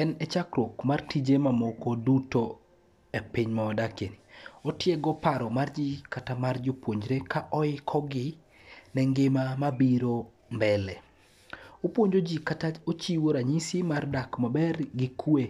En e chakruok mar tije mamoko duto e piny mawadakie. Otiego paro mar ji kata mar jopuonjre ka oikogi ne ngima mabiro mbele. Opuonjo ji kata ochiwo ranyisi mar dak maber gi kwe